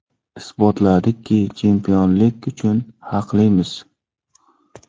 Isbotladikki, chempionlik uchun haqlimiz.